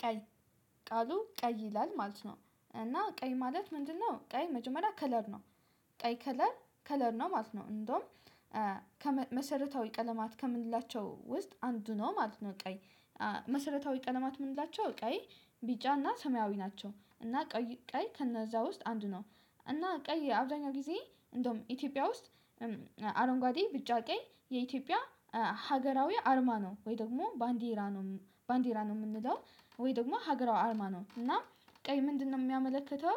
ቀይ ቃሉ ቀይ ይላል ማለት ነው እና ቀይ ማለት ምንድነው? ቀይ መጀመሪያ ከለር ነው። ቀይ ከለር ከለር ነው ማለት ነው እንደውም ከመሰረታዊ ቀለማት ከምንላቸው ውስጥ አንዱ ነው ማለት ነው። ቀይ መሰረታዊ ቀለማት የምንላቸው ቀይ ቢጫና ሰማያዊ ናቸው እና ቀይ ከነዛ ውስጥ አንድ ነው። እና ቀይ አብዛኛው ጊዜ እንደውም ኢትዮጵያ ውስጥ። አረንጓዴ ቢጫ ቀይ የኢትዮጵያ ሀገራዊ አርማ ነው ወይ ደግሞ ባንዲራ ነው ባንዲራ ነው የምንለው ወይ ደግሞ ሀገሯ አርማ ነው እና ቀይ ምንድነው የሚያመለክተው?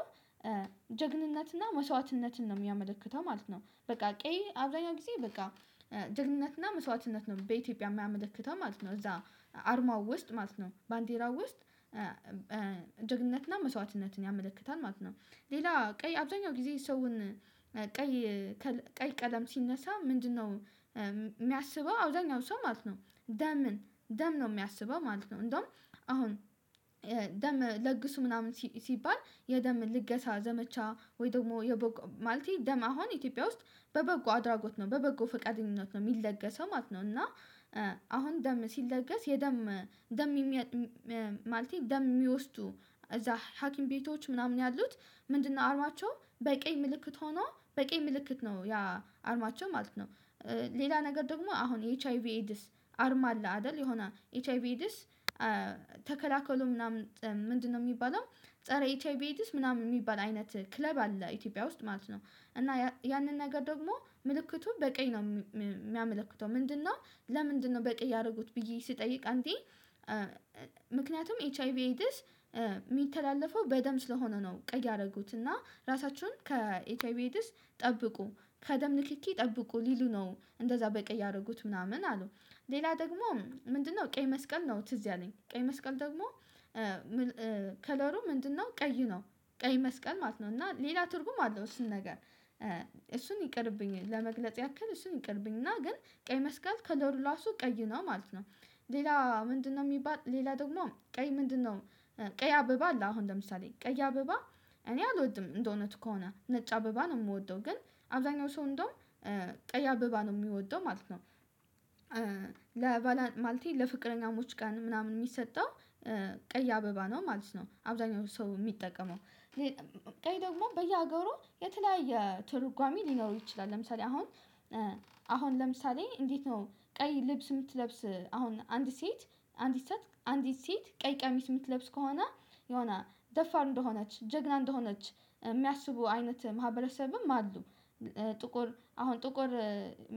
ጀግንነትና መስዋዕትነትን ነው የሚያመለክተው ማለት ነው። በቃ ቀይ አብዛኛው ጊዜ በቃ ጀግንነትና መስዋዕትነት ነው በኢትዮጵያ የማያመለክተው ማለት ነው። እዛ አርማው ውስጥ ማለት ነው ባንዲራው ውስጥ ጀግንነትና መስዋዕትነትን ያመለክታል ማለት ነው። ሌላ ቀይ አብዛኛው ጊዜ ሰውን ቀይ ቀለም ሲነሳ ምንድነው? የሚያስበው አብዛኛው ሰው ማለት ነው ደምን ደም ነው የሚያስበው ማለት ነው። እንደውም አሁን ደም ለግሱ ምናምን ሲባል የደም ልገሳ ዘመቻ ወይ ደግሞ የበጎ ማለቴ ደም አሁን ኢትዮጵያ ውስጥ በበጎ አድራጎት ነው በበጎ ፈቃደኝነት ነው የሚለገሰው ማለት ነው። እና አሁን ደም ሲለገስ የደም ደም ማለት ደም የሚወስዱ እዛ ሀኪም ቤቶች ምናምን ያሉት ምንድነው አርማቸው በቀይ ምልክት ሆኖ በቀይ ምልክት ነው ያ አርማቸው ማለት ነው። ሌላ ነገር ደግሞ አሁን ኤች አይ ቪ ኤዲስ አርማ አለ አይደል የሆነ ኤች አይ ቪ ዲስ ተከላከሉ ምናምን ምንድነው የሚባለው? ፀረ ኤች አይ ቪ ምናምን የሚባል አይነት ክለብ አለ ኢትዮጵያ ውስጥ ማለት ነው። እና ያንን ነገር ደግሞ ምልክቱን በቀኝ ነው የሚያመለክተው ምንድነው ለምንድነው? በቂ እያደረጉት ብዬ ስጠይቅ አንተ ምክንያቱም ኤች አይ ቪ ኤዲስ የሚተላለፈው በደም ስለሆነ ነው ቀይ ያደረጉት እና ራሳቸውን ከኤች አይ ቪ ኤዲስ ጠብቁ ከደም ንክኪ ጠብቁ ሊሉ ነው እንደዛ በቀይ ያደረጉት ምናምን አሉ። ሌላ ደግሞ ምንድነው? ቀይ መስቀል ነው ትዝ ያለኝ ቀይ መስቀል ደግሞ። ከለሩ ምንድነው ቀይ ነው። ቀይ መስቀል ማለት ነው እና ሌላ ትርጉም አለው እሱን ነገር እሱን ይቅርብኝ ለመግለጽ ያክል እሱን ይቅርብኝ እና ግን ቀይ መስቀል ከለሩ ራሱ ቀይ ነው ማለት ነው። ሌላ ምንድነው የሚባል ሌላ ደግሞ ቀይ ምንድነው? ቀይ አበባ አለ አሁን ለምሳሌ ቀይ አበባ። እኔ አልወድም እንደው እውነቱ ከሆነ ነጭ አበባ ነው የምወደው ግን አብዛኛው ሰው እንደውም ቀይ አበባ ነው የሚወደው ማለት ነው። ለባላ ማለቴ ለፍቅረኛው ቀን ምናምን የሚሰጠው ቀይ አበባ ነው ማለት ነው አብዛኛው ሰው የሚጠቀመው። ቀይ ደግሞ በየሀገሩ የተለያየ ትርጓሜ ሊኖረው ይችላል ለምሳሌ አሁን። አሁን ለምሳሌ እንዴት ነው ቀይ ልብስ የምትለብስ? አሁን አንድ ሴት አንድ ሰት አንዲት ሴት ቀይ ቀሚስ የምትለብስ ከሆነ የሆነ ደፋር እንደሆነች ጀግና እንደሆነች የሚያስቡ አይነት ማህበረሰብም አሉ። ጥቁር አሁን ጥቁር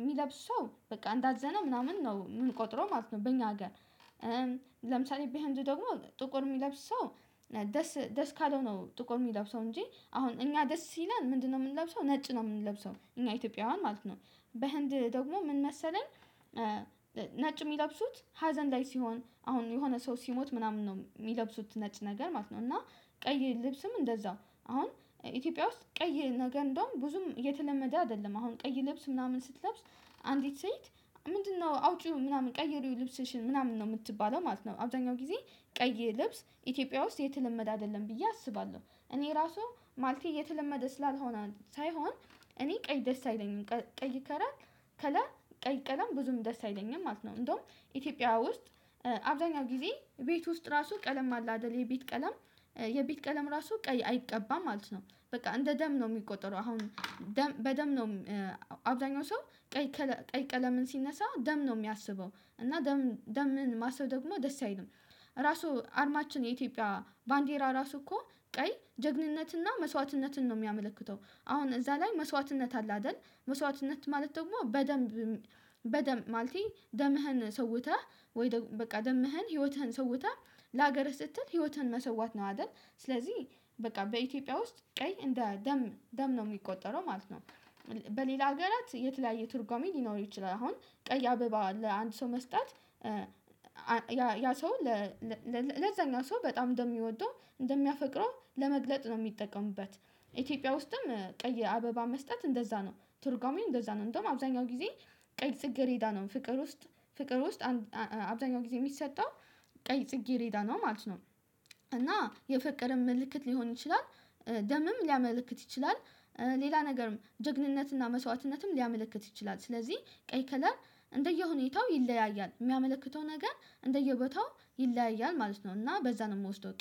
የሚለብሰው በቃ እንዳዘነ ምናምን ነው የምንቆጥረው ማለት ነው በኛ ሀገር። ለምሳሌ በህንድ ደግሞ ጥቁር የሚለብሰው። ደስ ደስ ካለው ነው ጥቁር የሚለብሰው እንጂ አሁን እኛ ደስ ሲለን ምንድነው የምንለብሰው ነጭ ነው የምንለብሰው እኛ ኢትዮጵያውያን ማለት ነው። በህንድ ደግሞ ምን መሰለን? ነጭ የሚለብሱት ሀዘን ላይ ሲሆን አሁን የሆነ ሰው ሲሞት ምናምን ነው የሚለብሱት ነጭ ነገር ማለት ነው። እና ቀይ ልብስም እንደዛው አሁን ኢትዮጵያ ውስጥ ቀይ ነገር እንደውም ብዙም የተለመደ አይደለም አሁን ቀይ ልብስ ምናምን ስትለብስ። አንዲት ሴት ምንድነው አውጪው ምናምን ቀይሪው ልብስሽን ምናምን ነው የምትባለው ማለት ነው። አብዛኛው ጊዜ ቀይ ልብስ ኢትዮጵያ ውስጥ የተለመደ አይደለም ብዬ አስባለሁ እኔ ራሱ ማለቴ የተለመደ ስላልሆነ ሳይሆን። እኔ ቀይ ደስ አይለኝም ቀይ ከለር ቀይ ቀለም ብዙም ደስ አይለኝም ማለት ነው። እንደውም ኢትዮጵያ ውስጥ አብዛኛውን ጊዜ ቤት ውስጥ ራሱ ቀለም አለ አይደል የቤት ቀለም? የቤት ቀለም ራሱ ቀይ አይቀባም ማለት ነው። በቃ እንደ ደም ነው የሚቆጠረው አሁን። በደም ነው። አብዛኛው ሰው ቀይ ቀለምን ሲነሳ ደም ነው የሚያስበው እና ደምን ማሰብ ደግሞ ደስ አይልም። ራሱ አርማችን የኢትዮጵያ ባንዴራ ራሱ እኮ ቀይ ጀግንነትና መስዋዕትነትን ነው የሚያመለክተው አሁን እዛ ላይ መስዋዕትነት አለ አይደል? መስዋዕትነት ማለት ደግሞ በደንብ በደም ማለቴ ደምህን ሰውተህ ወይ በቃ ደምህን ህይወትህን ሰውተህ ለሀገርህ ስትል ህይወትህን መስዋት ነው አይደል? ስለዚህ በቃ በኢትዮጵያ ውስጥ ቀይ እንደ ደም ደም ነው የሚቆጠረው ማለት ነው። በሌላ ሀገራት የተለያየ ትርጉሜ ሊኖር ይችላል አሁን ቀያ አበባ ለአንድ ሰው መስጠት። ያ ሰው ለዛኛው ሰው በጣም እንደሚወደው እንደሚያፈቅረው ለመግለጽ ነው የሚጠቀሙበት። ኢትዮጵያ ውስጥም ቀይ አበባ መስጠት እንደዛ ነው ቱርጓሚን እንደዛ ነው እንደውም አብዛኛው ጊዜ። ቀይ ጽጌሬዳ ነው ፍቅር ውስጥ ፍቅር ውስጥ አብዛኛው ጊዜ የሚሰጠው ቀይ ጽጌ ሬዳ ነው ማለት ነው። እና የፍቅር ምልክት ሊሆን ይችላል። ደምም ሊያመለክት ይችላል። ሌላ ነገርም ጀግንነትና መስዋዕትነትም ሊያመለክት ይችላል ስለዚህ ቀይ ከለር እንደየሁኔታው ይለያያል የሚያመለክተው ነገር እንደየቦታው ይለያያል ማለት ነው። እና በዛ ነው የምወስደው